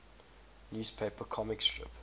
newspaper comic strip